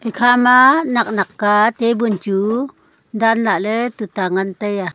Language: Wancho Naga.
ekha ma nak nak ka table chu dan lah ley tuta ngan taiya.